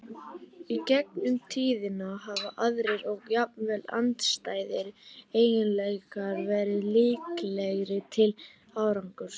Í gegnum tíðina hafa aðrir, og jafnvel andstæðir, eiginleikar verið líklegri til árangurs.